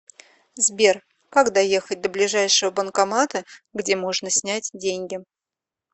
сбер как доехать до ближайшего банкомата где можно снять деньги